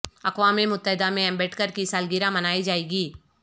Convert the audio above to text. اقوام متحدہ میں امبیڈکر کی سالگرہ منائی جائے گی